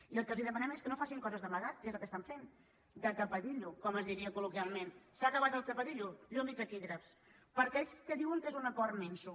i el que els demanem és que no facin coses d’amagat que és el que estan fent de tapadillo com es diria col·i taquígrafs per a aquells que diuen que és un acord minso